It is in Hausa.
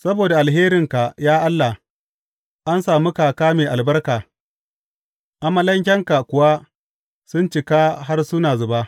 Saboda alherinka, ya Allah, an sami kaka mai albarka, amalankenka kuwa sun cika har suna zuba.